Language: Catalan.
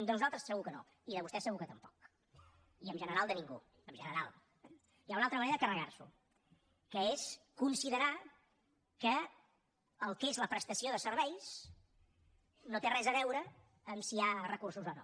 de nosaltres segur que no i de vostès segur que tampoc i en general de ningú en general eh hi ha una altra manera de carregars’ho que és considerar que el que és la prestació de serveis no té res a veure amb si hi ha recursos o no